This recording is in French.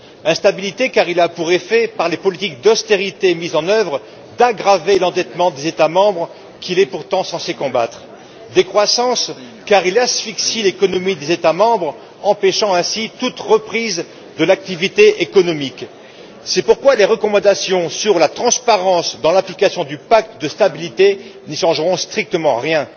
Instabilité, car il a pour effet, par les politiques d'austérité mises en œuvre, d'aggraver l'endettement des États membres, endettement qu'il est pourtant censé combattre. Décroissance, car il asphyxie l'économie des États membres, empêchant ainsi toute reprise de l'activité économique. C'est pourquoi les recommandations sur la transparence dans l'application du pacte de stabilité n'y changeront strictement rien.